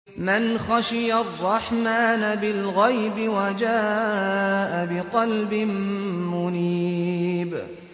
مَّنْ خَشِيَ الرَّحْمَٰنَ بِالْغَيْبِ وَجَاءَ بِقَلْبٍ مُّنِيبٍ